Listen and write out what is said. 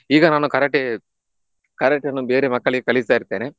ಈಗ ನಾನು Karate Karate ಅನ್ನು ಬೇರೆ ಮಕ್ಕಳಿಗೆ ಕಳಿಸ್ತಾ ಇರ್ತೇನೆ.